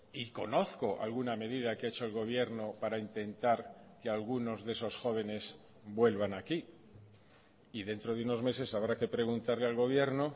y conozco alguna medida que ha hecho el gobierno para intentar que algunos de esos jóvenes vuelvan aquí y dentro de unos meses habrá que preguntarle al gobierno